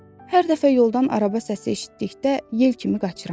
Hər dəfə yoldan araba səsi eşitdikdə yel kimi qaçıram.